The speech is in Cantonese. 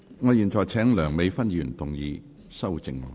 我現在請梁美芬議員動議修正案。